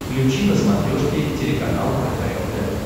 включи на смотрешке телеканал кхл тв